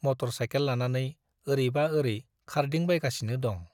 Motor cycle लानानै ओरैबा औरै खारदिंबायगासिनो दं।